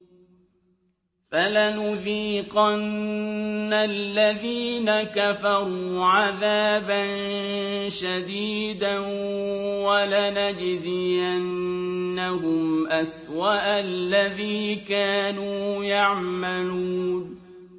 فَلَنُذِيقَنَّ الَّذِينَ كَفَرُوا عَذَابًا شَدِيدًا وَلَنَجْزِيَنَّهُمْ أَسْوَأَ الَّذِي كَانُوا يَعْمَلُونَ